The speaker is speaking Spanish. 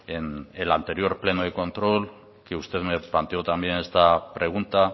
en el anterior pleno de control que usted me planteó también esta pregunta